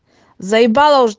заебало уж